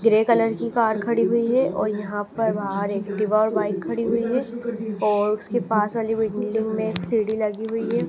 Grey colour की car खड़ी हुई है और यहां पर बाहर एक्टिवा और बाइक खड़ी हुई है और उसके पास वाली बिल्डिंग में एक सीढ़ी लगी हुई है।